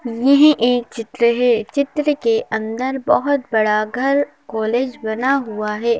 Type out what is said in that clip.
ये हे एक चित्र है चित्र के अंदर बहोत बड़ा घर कॉलेज बना हुआ है।